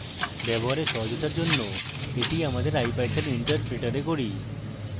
ব্যবহারে সহজতার জন্য এটি আমাদের ipython interpreter এ করি